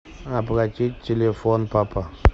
оплатить телефон папа